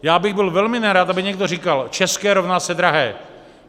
Já bych byl velmi nerad, aby někdo říkal: české rovná se drahé.